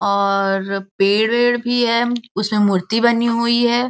और पेड़ वेड भी है उसमें मूर्ति बनी हुई है।